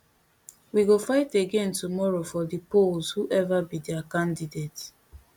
we go fight again tomorrow for di polls whoever be dia candidate